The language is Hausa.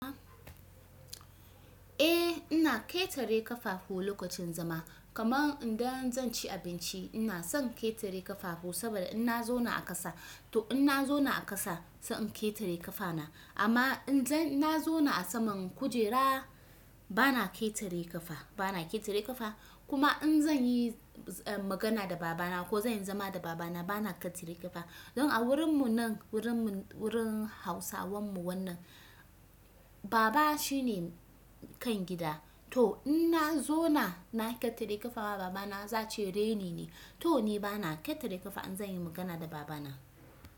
Eh ina ƙetare ƙafahu lokacin zama kaman idan zan ci abinci ina son ƙetare ƙafahu saboda in na zauna a ƙasa to in na zauna a ƙasa sai in ƙetare ƙafana amma idan na zauna a saman kujera bana ƙetare ƙafa bana ƙetare ƙafa kuma in zan yi magana da baba na ko zan zama da baba na bana ketare kafa, dan a wurin mun nan wurin hausawan mu wannan baba shine kan gida, to in ma zauna na ketare kafa ga baba na za'a ce raini ne, to ni bana ketare kafa in zan yi magana da baba na.